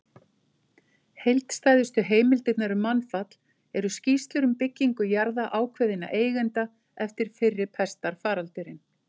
Heildstæðustu heimildirnar um mannfall eru skýrslur um byggingu jarða ákveðinna eigenda eftir fyrri pestarfaraldurinn.